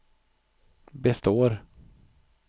består